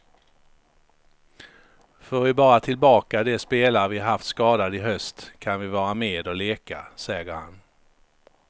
Får vi bara tillbaka de spelare vi haft skadade i höst kan vi vara med och leka, säger han.